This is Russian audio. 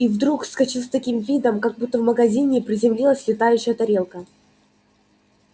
и вдруг вскочил с таким видом как будто в магазине приземлилась летающая тарелка